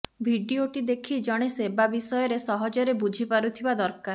ଭିଡିଓଟି ଦେଖି ଜଣେ ସେବା ବିଷୟରେ ସହଜରେ ବୁଝି ପାରୁଥିବା ଦରକାର